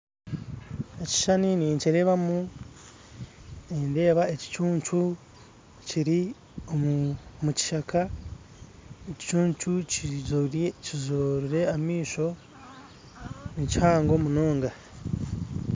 Ekishushani ninkireebamu nindeeba ekicuncu kiri omu kishaka ekicuncu kizoire kizoire amaisho nikihango munonga